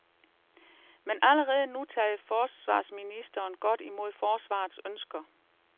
Men allerede nu tager forsvarsministeren godt imod forsvarets ønsker.